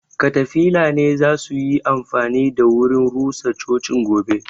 katafila ne zasuyi amfani da wurin rusa cocin gobe